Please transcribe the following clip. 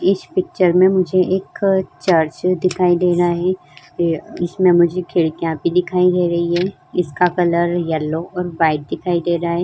इस पिक्चर में मुझे एक चर्च दिखाई दे रहा है फिर इसमें मुझे खिड़कियां भी दिखाई दे रही हैं। इसका कलर येलो और वाइट दिखाई दे रहा है।